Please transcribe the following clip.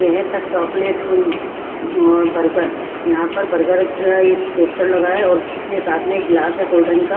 यह है the chocolate room और बर्गर यहां पर बर्गर का एक पोस्टर लगा है और उसके साथ में एक गिलास है कोल्ड्रिंक का।